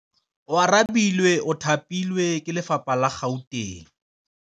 Oarabile o thapilwe ke lephata la Gauteng.